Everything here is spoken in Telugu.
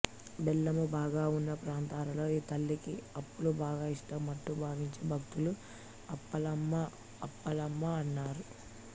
బెల్లము బాగా వున్న ప్రాంతాలలో ఈ తల్లికి అప్పాలు బాగా ఇష్టమంటూ భావించే భక్తులు అప్పాలఅమ్మ అప్పలమ్మ అన్నారు